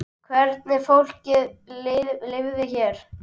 Hvernig fólki liði hér.